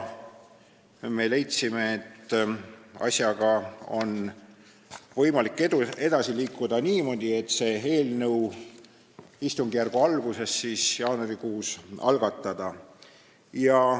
Me leidsime, et asjaga on võimalik edasi liikuda niimoodi, et istungjärgu alguses, jaanuarikuus eelnõu algatada.